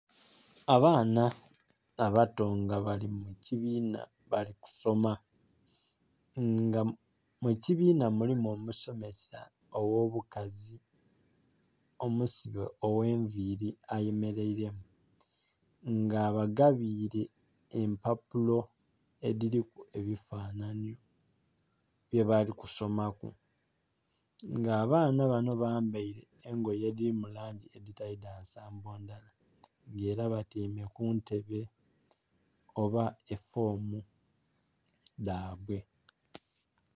Abaana abato nga bali mukibinha nga bali kusoma nga mukibinha mulimu omusomesa oghobukazi omusibe oghenvili ayemeraire nga abagabire empapulo edhiriku ebifanhanhi byebalikusomaku nga abaana banho bambeire engoye edhiri langi edhitali dhansambo ndhala nga era batyaime kuntebe oba efoomu dhabwe.